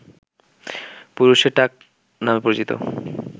পুরুষের টাক নামে পরিচিত